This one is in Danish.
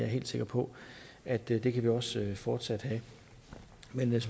helt sikker på at det kan vi også fortsat have men